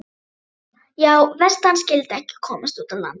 Já, verst að hann skyldi ekki komast út á land.